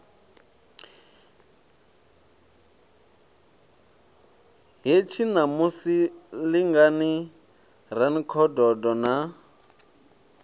hetshi ṋamusi lingani rankhododo na